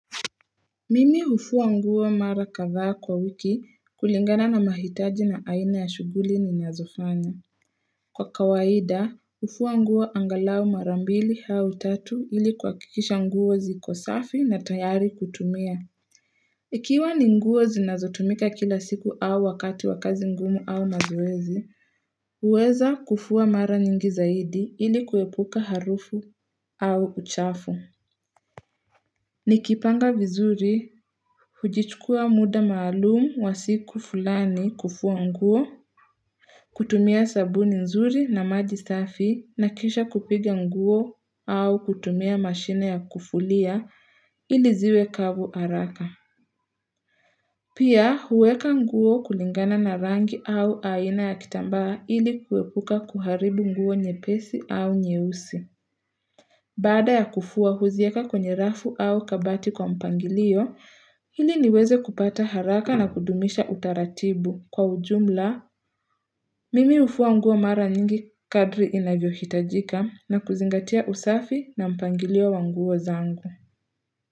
Mimi hufua nguo mara kathaa kwa wiki kulingana na mahitaji na aina ya shughuli ninazofanya. Kwa kawaida, hufua nguo angalao mara mbili au tatu ili kuhakikisha nguo ziko safi na tayari kutumia. Ikiwa ni nguo zinazotumika kila siku au wakati wakazi ngumu au mazoezi, huweza kufua mara nyingi zaidi ili kuepuka harufu au uchafu. Nikipanga vizuri, hujichukua muda maalumu wa siku fulani kufua nguo, kutumia sabuni nzuri na maji safi na kisha kupiga nguo au kutumia mashine ya kufulia iliziwe kavu haraka. Pia huweka nguo kulingana na rangi au aina ya kitambaa ili kuepuka kuharibu nguo nyepesi au nyeusi. Baada ya kufua huziweka kwenye rafu au kabati kwa mpangilio, iliniweze kupata haraka na kudumisha utaratibu. Kwa ujumla, mimi hufua nguo mara nyingi kadri inavyohitajika na kuzingatia usafi na mpangilio wanguo zangu.